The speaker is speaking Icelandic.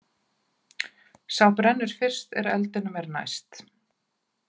Sá brennur fyrst sem eldinum er næst.